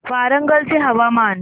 वरंगल चे हवामान